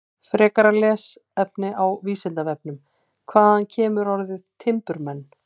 Frekara lesefni á Vísindavefnum: Hvaðan kemur orðið timburmenn?